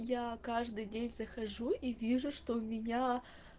я каждый день захожу и вижу что у меня